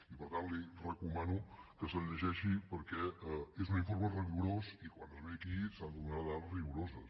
i per tant li recomano que se’l llegeixi perquè és un informe rigorós i quan es ve aquí s’han de donar dades rigoroses